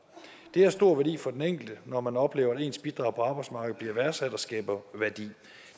det har stor værdi for den enkelte når man oplever at ens bidrag på arbejdsmarkedet bliver værdsat og skaber værdi